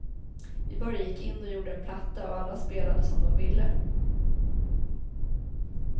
Vi bara gick in och gjorde en platta och alla spelade som de ville.